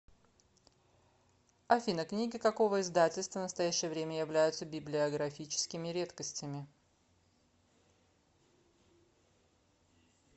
афина книги какого издательства в настоящее время являются библиографическими редкостями